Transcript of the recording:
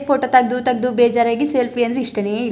photo ತಗದು ತಗದು ಬೇಜಾರಾಗಿ ಸೆಲ್ಫಿ ಅಂದ್ರೆ ಇಷ್ಟನೇ ಇಲ್ಲ --